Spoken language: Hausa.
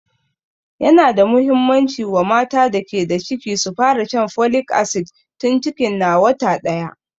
Yana da muhimmanci wa mata da ke da ciki su fara shan folic acid tun cikin na wata ɗaya